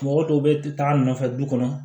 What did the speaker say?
Mɔgɔ dɔw bɛ taa nɔfɛ du kɔnɔ